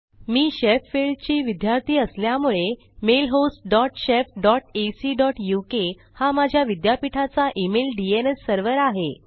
मी Sheffield चा विद्यार्थी असल्यामुळे mailhost dot shef dot ac dot uk हा माझ्या विद्यापीठाचा इमेल डीएनएस सर्व्हर आहे